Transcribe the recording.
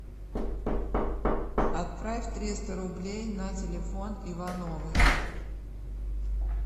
отправь триста рублей на телефон ивановой